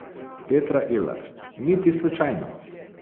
Petra Ilar: 'Niti slučajno!